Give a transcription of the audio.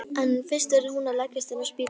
En fyrst verður hún að leggjast inn á spítala.